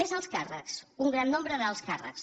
més alts càrrecs un gran nombre d’alts càrrecs